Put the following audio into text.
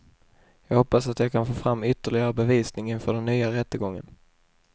Jag hoppas att jag kan få fram ytterligare bevisning inför den nya rättegången.